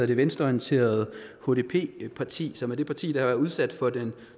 det venstreorienterede hdp parti som er det parti der har været udsat for den